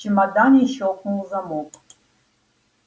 в чемодане щёлкнул замок